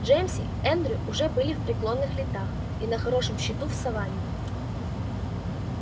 джеймс и эндрю уже в преклонных летах и на хорошем счету в саванне